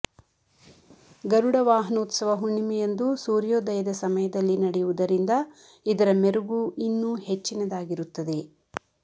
ಗರುಡವಾಹನೋತ್ಸವ ಹುಣ್ಣಿಮೆಯಂದು ಸೂರ್ಯೋದಯದ ಸಮಯದಲ್ಲಿ ನಡೆಯುವುದರಿಂದ ಇದರ ಮೆರುಗು ಇನ್ನೂ ಹೆಚ್ಚಿನದಾಗಿರುತ್ತದೆ